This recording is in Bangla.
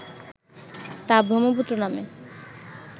তা ব্রহ্মপুত্র নামে